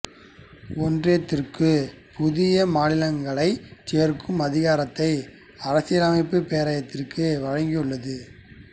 ஒன்றியத்திற்கு புதிய மாநிலங்களைச் சேர்க்கும் அதிகாரத்தை அரசியலமைப்பு பேராயத்திற்கு வழங்கியுள்ளது